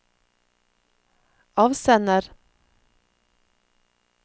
avsender